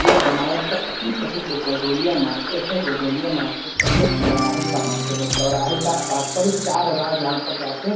यह बनारस का अतिप्रसिद्ध गोदोलिया मार्किट है। गोदोलिया मार्केट पर ये चौराहे का मार्केट है चौराहे का अ तात्पर्य चार राह जहाँ पर जाते --